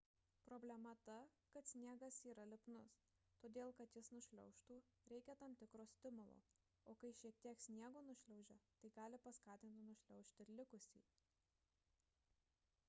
problema ta kad sniegas yra lipnus todėl kad jis nušliaužtų reikia tam tikro stimulo o kai šiek tiek sniego nušliaužia tai gali paskatinti nušliaužti ir likusį